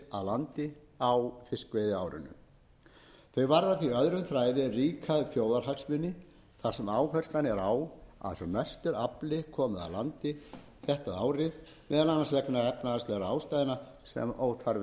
landi á fiskveiðiárinu þau varða því öðrum þræði ríka þjóðarhagsmuni þar sem áherslan er á að sem mestur afli komi að landi þetta árið vegna efnahagslegra ástæðna sem óþarfi er að rekja hér